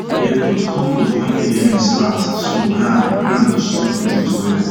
we dey put compost when early rain start so ground ground go soak nutrient well